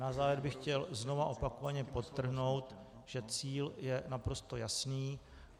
Na závěr bych chtěl znova opakovaně podtrhnout, že cíl je naprosto jasný.